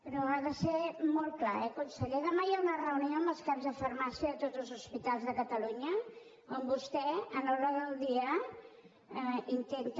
però ha de ser molt clar eh conseller demà hi ha una reunió amb els caps de farmàcia de tots els hospitals de catalunya on vostè en l’ordre del dia intenta